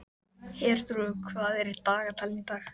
Herþrúður, hvað er í dagatalinu í dag?